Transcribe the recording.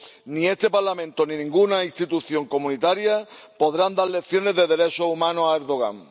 ni este Parlamento ni ninguna institución comunitaria podrán dar lecciones de derechos humanos a Erdogan.